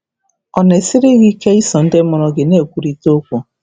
Ọ̀ na-esiri um gị ike iso ndị mụrụ gị na-ekwurịta okwu?